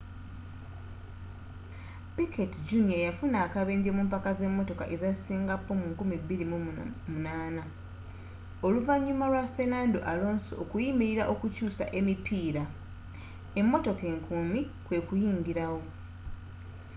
piquet jr yafuna akabenje mumpaka ze motoka eza singapore 2008 oluvanyuma lwa fernando alonso okuyimirira okukyusa emipiira emotoka enkuumi kwekuyingira wo